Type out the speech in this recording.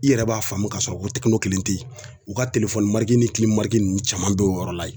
I yɛrɛ b'a faamu k'a sɔrɔ ko Tɛkino kelen tɛ yen u ka ni nunnu caman bɛ yen o yɔrɔ la yen.